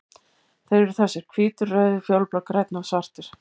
Þeir eru þessir: Hvítur, rauður, fjólublár, grænn og svartur.